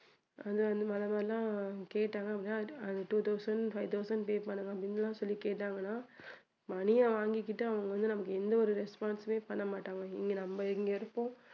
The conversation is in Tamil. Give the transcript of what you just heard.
அந்த அந்த மாதிரி எல்லாம் கேட்டாங்க அப்படின்னா two thousand, five thousand pay பண்ணணும் அப்படின்னு எல்லாம் சொல்லி கேட்டாங்கன்னா money அ வாங்கிக்கிட்டு அவங்க வந்து நம்மளுக்கு எந்த ஒரு response உமே பண்ணமாட்டாங்க இங்க நம்ம இங்க இருப்போம்